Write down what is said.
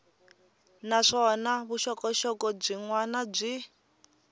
naswona vuxokoxoko byin wana byi